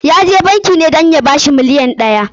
Ya je banki ne dan ya ci bashin miliyon ɗaya.